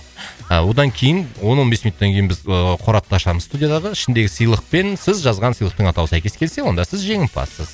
ыыы одан кейін он он бес минуттан кейін біз ыыы қорапты ашамыз студиядағы ішіндегі сыйлық пен сіз жазған сыйлықтың атауы сәйкес келсе онда сіз жеңімпазсыз